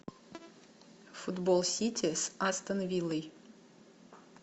футбол сити с астон виллой